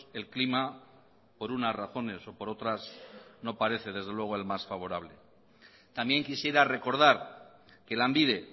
el clima por unas razones o por otras no parece desde luego el más favorable también quisiera recordar que lanbide